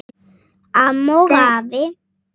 Amma og afi.